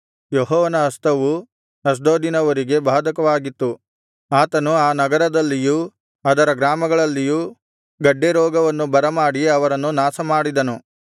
ಯೆಹೋವನ ಹಸ್ತವು ಅಷ್ಡೋದಿನವರಿಗೆ ಬಾಧಕವಾಗಿತ್ತು ಆತನು ಆ ನಗರದಲ್ಲಿಯೂ ಅದರ ಗ್ರಾಮಗಳಲ್ಲಿಯೂ ಗಡ್ಡೆ ರೋಗವನ್ನು ಬರಮಾಡಿ ಅವರನ್ನು ನಾಶಮಾಡಿದನು